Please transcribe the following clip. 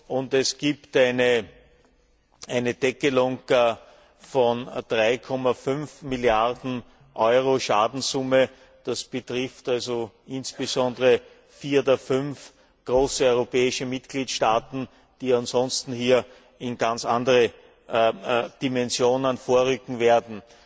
Und es gibt eine Deckelung von 3,5 Milliarden Euro Schadenssumme, das betrifft also insbesondere vier der fünf großen europäischen Mitgliedstaaten, die ansonsten hier in ganz andere Dimensionen vorrücken werden.